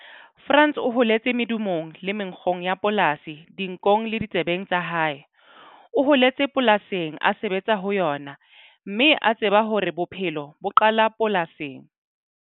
Frans o holetse medumong le menkgong ya polasi dinkong le ditsebeng tsa hae. O holetse polasing, a sebetsa ho yona, mme a tseba hore bophelo bo qala polasing.